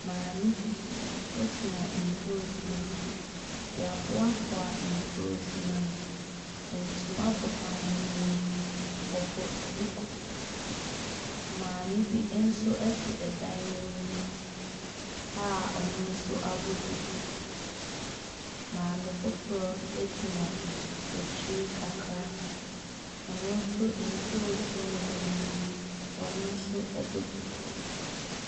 Maame gyina ntoosi no akyi. Wɔaboaboa ntoosi no ano. Ntoma bɔ maame no mu. Ɔbɔ duku. Maame bi nso te ɛdan anim a ɔno nso abɔ duku. Maame foforɔ gyina akyir kakra ɔno nso, ntoosi wɔ n'anim. Ɔno nso bɔ duku.